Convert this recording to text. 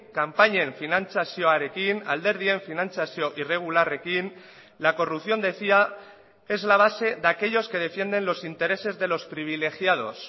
kanpainen finantzazioarekin alderdien finantzazio irregularrekin la corrupción decía es la base de aquellos que defienden los intereses de los privilegiados